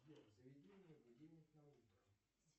сбер заведи мне будильник на утро